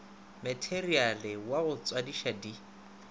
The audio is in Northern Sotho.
materiale wa go tswadiša di